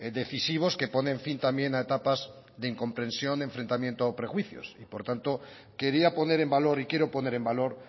decisivos que ponen fin también a etapas de incomprensión enfrentamiento o prejuicios por tanto quería poner en valor y quiero poner en valor